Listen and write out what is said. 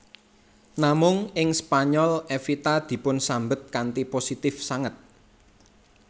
Namung ing Spanyol Evita dipunsambet kanthi positif sanget